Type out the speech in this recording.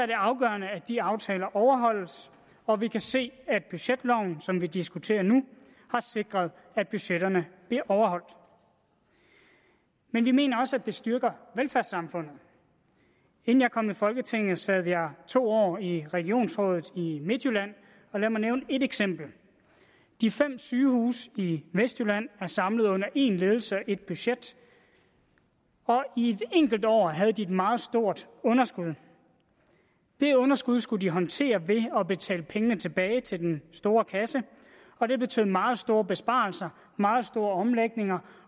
det afgørende at de aftaler overholdes og vi kan se at budgetloven som vi diskuterer nu har sikret at budgetterne bliver overholdt men vi mener også at det styrker velfærdssamfundet inden jeg kom i folketinget sad jeg to år i regionsrådet i midtjylland og lad mig nævne et eksempel de fem sygehuse i vestjylland er samlet under én ledelse og ét budget og i et enkelt år havde de et meget stort underskud det underskud skulle de håndtere ved at betale pengene tilbage til den store kasse og det betød meget store besparelser meget store omlægninger